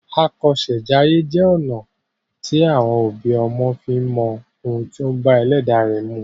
Àkọsèjayé jẹ́ ọ̀nà à ti àwọn òbí ọmọ fi ń mọ ohun tí ó bá ẹlẹ́dàá ẹ mu.